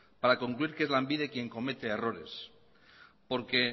para concluir que es lanbide quién comete errores porque